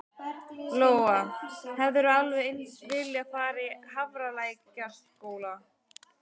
Lóa: Hefðirðu alveg eins viljað fara í Hafralækjarskóla?